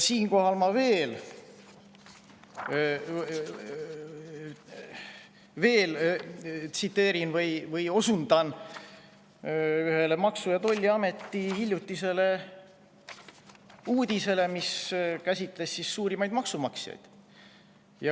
Ma osundan ühele Maksu‑ ja Tolliameti hiljutisele uudisele, mis käsitles suurimaid maksumaksjaid.